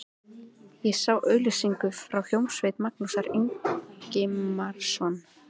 Ég sá auglýsingu frá hljómsveit Magnúsar Ingimarssonar.